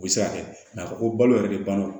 U bɛ se ka kɛ ko balo yɛrɛ de banna